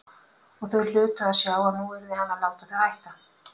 Og þau hlytu að sjá að nú yrði hann að láta þau hætta.